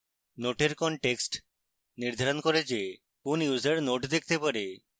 note এর context নির্ধারণ করে the কোন users note দেখতে পারে